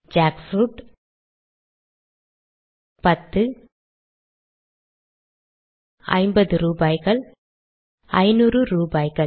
jackfruit பத்து ஐம்பது ரூபாய்கள் ஐநூறு ரூபாய்கள்